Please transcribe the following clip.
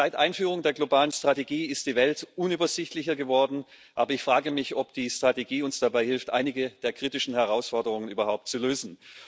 Seit Einführung der globalen Strategie ist die Welt unübersichtlicher geworden, aber ich frage mich, ob die Strategie uns dabei hilft, einige der kritischen Herausforderungen überhaupt zu lösen.